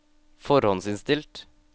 forhåndsinnstilt